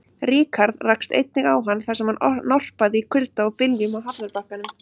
Ríkharð rakst einnig á hann, þar sem hann norpaði í kulda og byljum á hafnarbakkanum.